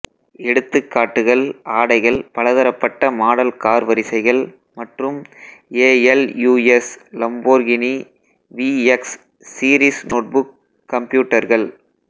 எடுத்துக்காட்டுகள் ஆடைகள் பலதரப்பட்ட மாடல் கார் வரிசைகள் மற்றும் ASUS Lamborghini VX series notebook கம்ப்யூட்டர்கள்